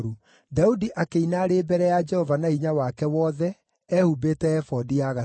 Daudi akĩina arĩ mbere ya Jehova na hinya wake wothe, ehumbĩte ebodi ya gatani;